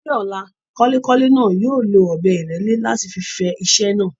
Ní ọ̀la, kọ́lékọ́lé náà yóò lo ọ̀bẹ ìrẹ́lẹ́ láti fi fẹ iṣẹ́ náà.